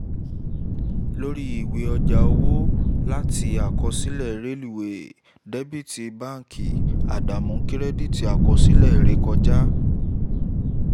lórí ìwé ọjà owó láti àkọsílẹ̀ rélìweè dẹ́bíítì báńkiì àdánù kírẹ́díìtì àkọsílẹ̀ ìrékọjá